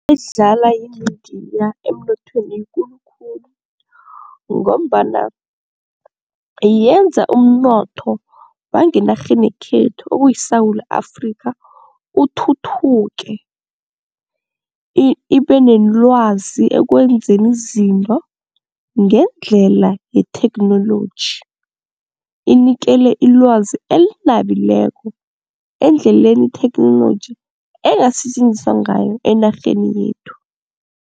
Edlalwa yimidiya emnothweni yikulu khulu ngombana yenza umnotho wangenarheni yekhethu okuyiSewula Afrikha uthuthuke ibe nelwazi ekwenzeni izinto ngendlela yetheknoloji, inikele ilwazi elinabileko endleleni itheknoloji engasetjenziswa ngayo enarheni yethu.